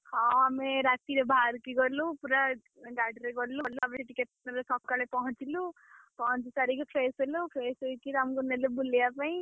ହଁ ଆମେ ରାତିରେ ବାହାରିକି ଗଲୁ ପୁରା, ଗାଡିରେ ଗଲୁ ସେଠି ସକାଳେ ପହଁଚିଲୁ, ପହଞ୍ଚି ସାରିକି fresh ହେଲୁ fresh ହେଇକି ଆମକୁ ନେଲେ ବୁଲେୟା ପାଇଁ।